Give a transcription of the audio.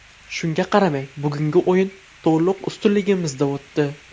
Shunga qaramay bugungi o‘yin to‘liq ustunligimizda o‘tdi.